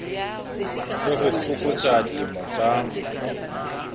le ho fokotsa dilemo tsa